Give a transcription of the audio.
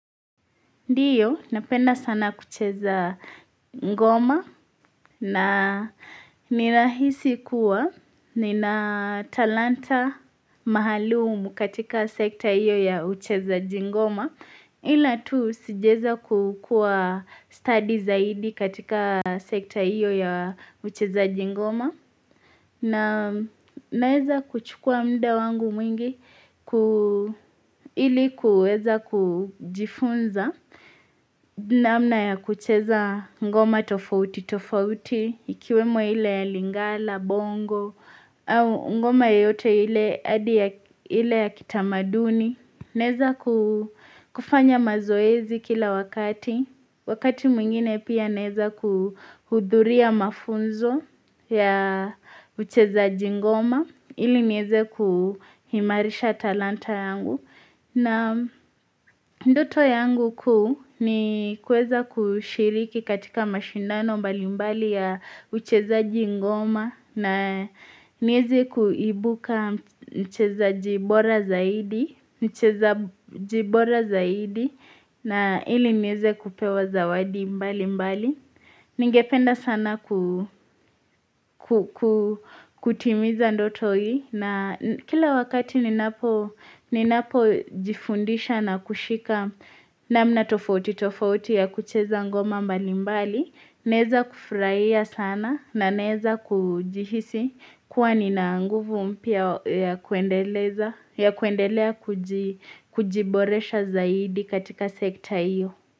Ndiyo napenda sana kucheza ngoma na nirahisi kuwa nina talanta maalumu katika sekta iyo ya uchezaji ngoma Ila tu sijaweza kukua studi zaidi katika sekta iyo ya uchezaji ngoma na naweza kuchukua muda wangu mwingi ilikuweza kujifunza namna ya kucheza ngoma tofauti tofauti Ikiwemo ile ya lingala, bongo au ngoma yoyote ile ya kitamaduni Naweza kufanya mazoezi kila wakati Wakati mwingine pia naweza kuhudhuria mafunzo ya uchezaji ngoma Ili niweze kuimarisha talanta yangu na ndoto yangu ku ni kuweza kushiriki katika mashindano mbali mbali ya uchezaji ngoma na niweze kuibuka mchezaji bora zaidi na ili niweze kupewa zawadi mbali mbali. Ningependa sana kutimiza ndoto hii na kila wakati ninapo jifundisha na kushika namna tofauti tofauti ya kucheza ngoma mbali mbali, naweza kufurahia sana na naweza kujihisi kuwa nina nguvu mpya ya kuendelea kujiboresha zaidi katika sekta iyo.